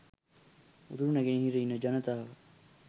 උතුරු නැගෙනහිර ඉන්න ජනතාව